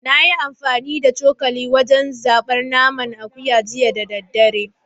Na yi amfani da cokali wajen zabar naman akuya jiya da daddare